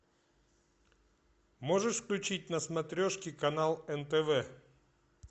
можешь включить на смотрешке канал нтв